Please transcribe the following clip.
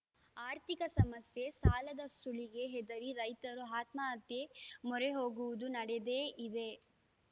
ಆರ್ಥಿಕ ಸಮಸ್ಯೆ ಸಾಲದ ಸುಳಿಗೆ ಹೆದರಿ ರೈತರು ಆತ್ಮಹತ್ಯೆ ಮೊರೆ ಹೋಗುವುದು ನಡದೇ ಇದೆ